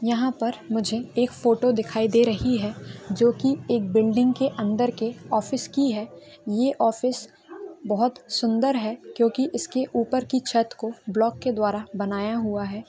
यहाँ पे मुझे एक फोटो दिखाई दे रही जो की एक बिल्डिंग के अंदर के ऑफिस की है ये ऑफिस बहुत ही सुन्दर है क्यूंकि इसके ऊपर की छत्त को ब्लॉक के द्वारा बनाया हुआ है।